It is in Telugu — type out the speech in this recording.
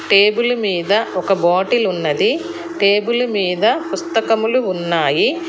టేబుల్ మీద ఒక బాటిల్ ఉన్నది టేబుల్ మీద పుస్తకములు ఉన్నాయి.